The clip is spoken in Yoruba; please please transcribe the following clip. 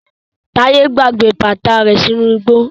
Taye gbàgbé bàtà rẹ sínú igbó.